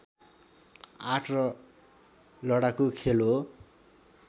art र लडाकू खेल हो